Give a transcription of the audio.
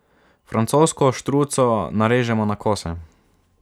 Francosko štruco narežemo na kose.